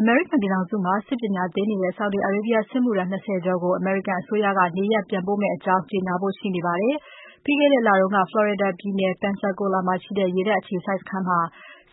အမေရိကန်ပြည်ထောင်စုမှာ စစ်ပညာသင်နေတဲ့ Saudi Arabia စစ်မှုထမ်း ၂၀ ကျော်ကို အမေရိကန်အစိုးရက နေရပ်နိုင်ငံပြန်ပို့မယ့်အကြောင်း ကြေညာဖို့ ရှိနေပါတယ်။ ပြီးခဲ့တဲလက Florida ပြည်နယ် Pensacola မှာရှိတဲ့ ရေတပ်အခြေစိုက်စခန်းမှာ